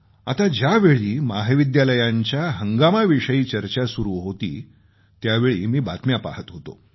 आत्ता ज्यावेळी महाविद्यालयांच्या जीवनाविषयी चर्चा सुरू होती त्यावेळी मी बातम्या पहात होतो